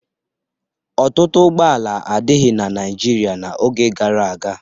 Ọtụtụ ụgbọala adịghị na Naịjirịa n'oge gara aga.